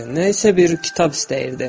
Nə isə bir kitab istəyirdi.